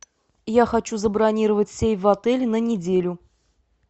я хочу забронировать сейф в отеле на неделю